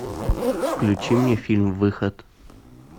включи мне фильм выход